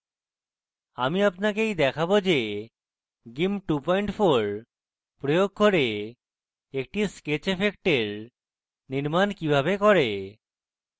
my আপনাকে এই দেখাবো যে gimp 24 প্রয়োগ করে একটি sketch এফেক্টের নির্মান কিভাবে করে